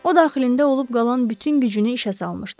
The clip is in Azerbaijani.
O daxilində olub qalan bütün gücünü işə salmışdı.